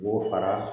K'o fara